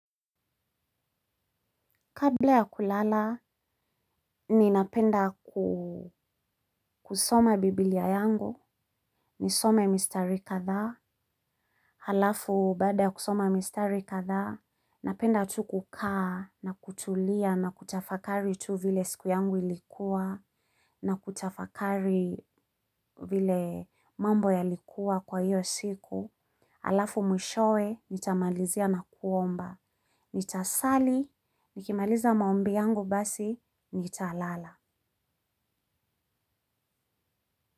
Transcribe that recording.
Kabla ya kulala, ninapenda kusoma biblia yangu, nisome mistari kadhaa, halafu baada kusoma mistari kadhaa, napenda tu kukaa, na kutulia, na kutafakari tu vile siku yangu ilikuwa, na kutafakari vile mambo yalikuwa kwa hiyo siku, alafu mwishowe, nitamalizia na kuomba, nitasali, nikimaliza maombi yangu basi, nitalala.